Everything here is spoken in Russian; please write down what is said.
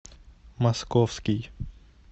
московский